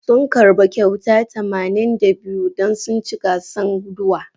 Sun karba kyauta tamanin da biyu don sun ci gasan guduwa.